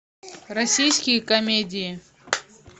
российские комедии